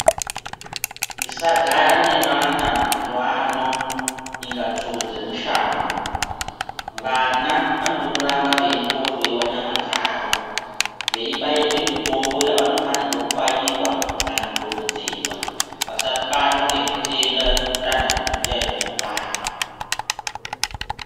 Tisagara nevana mazuwaano ,inga tsuro dzemushango, vana vanodo kuramba veiende kohloiwa nyama dzavo, veibairwe mitombo yavanofanirwe kubairwa kana kudontodzerwa, vasabatwa ngezvitenda zvitantatu zviyani zvinouraya.